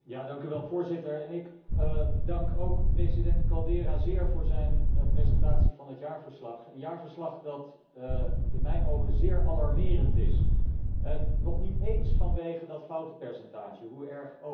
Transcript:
Voorzitter, ik dank ook president Caldeira zeer voor zijn presentatie van het jaarverslag, een jaarverslag dat in mijn ogen zeer alarmerend is, nog niet eens vanwege dat foutenpercentage, hoe erg ook.